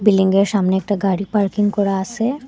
বিল্ডিংয়ের সামনে একটা গাড়ি পার্কিং করা আসে।